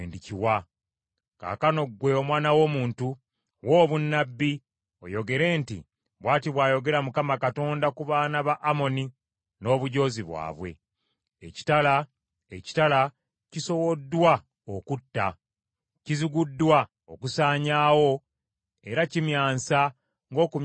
“Kaakano ggwe omwana w’omuntu, wa obunnabbi, oyogere nti, ‘Bw’ati bw’ayogera Mukama Katonda ku baana ba Amoni n’obujoozi bwabwe: “ ‘Ekitala, ekitala, kisowoddwa okutta, Kiziguddwa okusaanyaawo era kimyansa ng’okumyansa kw’eggulu.